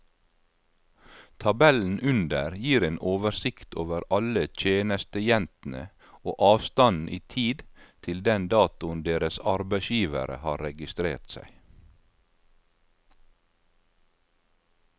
Tabellen under gir en oversikt over alle tjenestejentene og avstanden i tid til den datoen deres arbeidsgivere har registrert seg.